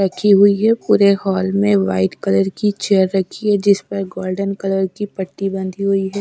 रखी हुई है पूरे हॉल में वाइट कलर की चेयर रखी है जिस पर गोल्डन कलर की पट्टी बंधी हुई है।